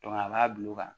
a b'a bila o kan